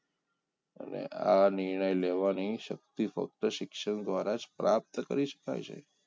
અને આ નિર્ણય લેવાની શક્તિ ફક્ત શિક્ષણ દ્વારા પ્રાપ્ત કરી શકાય છે